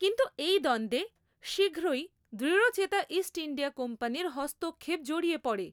কিন্তু এই দ্বন্দ্বে শীঘ্রই দৃঢ়চেতা ইস্ট ইণ্ডিয়া কোম্পানির হস্তক্ষেপ জড়িয়ে পড়ে।